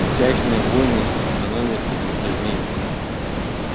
пустячные войны становятся затяжными